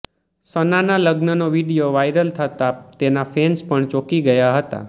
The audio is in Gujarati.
સનાના લગ્નનો વીડિયો વાયરલ થતાં તેના ફેન્સ પણ ચોંકી ગયા હતા